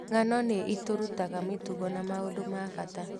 Ng'ano nĩ itũrutaga mĩtugo na maũndũ ma bata.